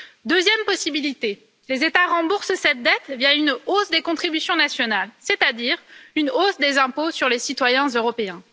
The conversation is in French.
Deuxième possibilité les États remboursent cette dette via une hausse des contributions nationales, c'est à dire une hausse des impôts sur les citoyens européens.